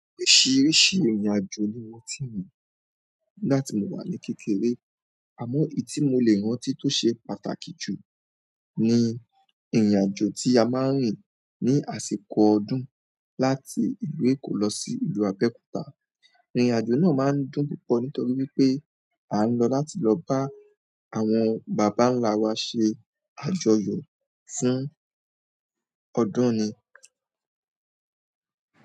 Oríṣìíríṣìí ìrìnàjò ni mo ti rìn nígbàtí mo wà ní kékeré. Àmọ́ èyí tí mo lè rántí tó ṣe pàtàkì jù ni ìrìnàjò tí a máa ń rìn ní àsìkò ọdún láti ìlú Èkó lọ sí ìlú Abẹ́òkúta. Ìrìnàjò náà máa ń dùn púpọ̀ nítorí wípé a ń lọ láti lọ bá àwọn bàbá ńlá wa ṣe àjọyọ̀ fún ọdún ni.